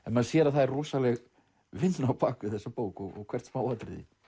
maður sér að það er rosaleg vinna á bak við þessa bók og hvert smáatriði